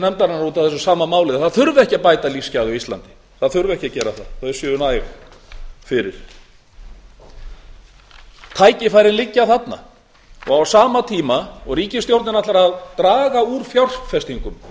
nefndarinnar út af þessu sama máli að það þurfi ekki að bæta lífsgæði á íslandi þau séu næg fyrir tækifærin liggja þarna á sama tíma og ríkisstjórnin ætlar að draga úr fjárfestingum